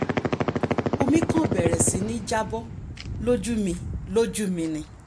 omi kan bẹ̀rẹ̀ sí ní já bọ́ lójú mi lójú mi ni